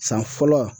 San fɔlɔ